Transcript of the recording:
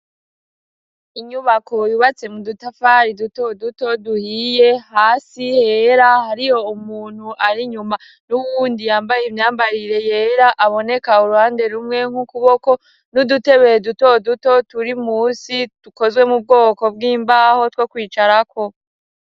Inyubako yubatse mu dutafari duto duto duhiye, hasi hera hariho umuntu ar'inyuma n'uwundi yambaye imyambarire yera, aboneka uruhande rumwe nk'ukuboko n'udutebe duto duto turi musi tukozwe mu bwoko bw'imbaho two kwicarako.